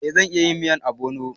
Eh zan iya yin miyan obono